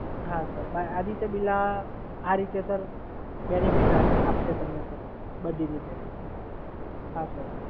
હા સર, આદિત્ય બિરલા આ રીતે સર બેનિફિટ તમને આપશે સર બધી રીતે. હા સર.